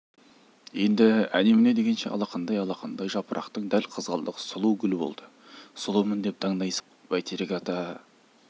енді әні-міне дегенше алақандай-алақандай жапырақтың дәл қызғалдақ сұлу гүл болды сұлумын деп даңдайсыған жоқ бәйтерек ата